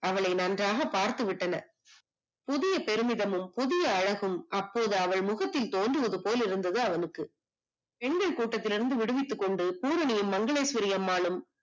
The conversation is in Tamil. அவளை நன்றாக பார்த்து விட்டன. புதிய பெருமிதமும், புதிய அழகும் அப்போது அவள் முகத்தில் தோன்றியது போல் இருந்தது அவளுக்கு. பெண்கள் கூட்டத்திலிருந்து விடுவித்துக்கொண்டு பூரணியும் மங்களேஸ்வரிஅம்மாளும்